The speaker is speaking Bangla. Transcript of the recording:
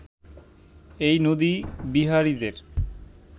এই নদী-বিহারীদের